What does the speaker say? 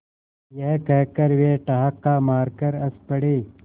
यह कहकर वे ठहाका मारकर हँस पड़े